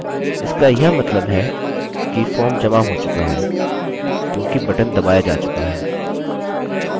इसका यह मतलब है कि फॉर्म जमा हो चुका है क्योंकि बटन दबाया जा चुका है